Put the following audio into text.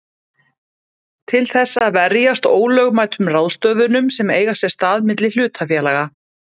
til þess að verjast ólögmætum ráðstöfunum sem eiga sér stað milli hlutafélaga.